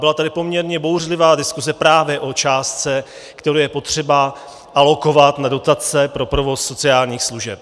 Byla tady poměrně bouřlivá diskuze právě o částce, kterou je potřeba alokovat na dotace pro provoz sociálních služeb.